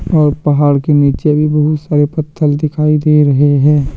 और पहाड़ के नीचे भी बहुत सारे पत्थल दिखाई दे रहे हैं।